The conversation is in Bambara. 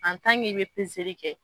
An tan k'i be pezeli kɛ